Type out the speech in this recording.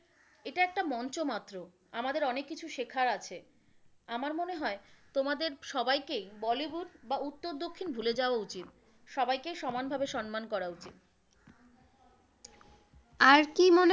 এটা একটা মঞ্চ মাত্র, আমাদের অনেক কিছু শেখার আছে। আমার মনে হয় তোমাদের সবাইকেই বলিউড বা উত্তর দক্ষিণ ভুলে যাওয়া উচিত, সবাইকে সমান ভাবে সম্মান করা উচিত। আর কি মনে,